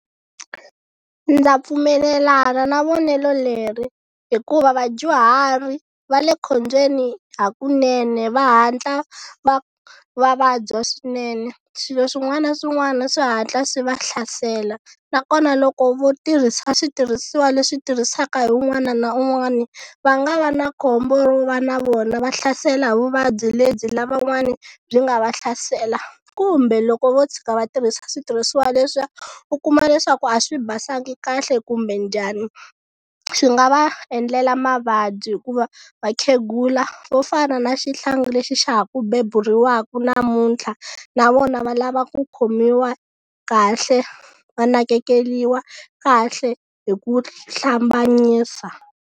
Ndza pfumelelana na vonelo leri hikuva vadyuhari va le khombyeni hakunene va hatla va va vabya swinene swilo swin'wana na swin'wana swi hatla swi va hlasela nakona loko vo tirhisa switirhisiwa leswi tirhisaka hi un'wana na un'wana va nga va na khombo ro va na vona va hlasela vuvabyi lebyi lavan'wani byi nga va hlasela kumbe loko vo tshika va tirhisa switirhisiwa leswiya u kuma leswaku a swi basanga kahle kumbe njhani xi nga va endlela mavabyi hikuva vakhegula vo fana na xihlangi lexi xa ha ku beburiwaka namuntlha na vona va lava ku khomiwa kahle va nakekeliwa kahle hi ku hlambanyisa.